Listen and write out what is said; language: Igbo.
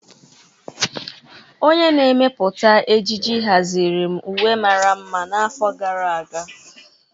Onye na-emepụta ejiji haziri m uwe mara mma n'afọ gara aga.